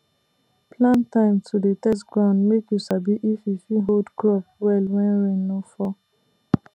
plan time to dey test ground make you sabi if e fit hold crop well when rain no fall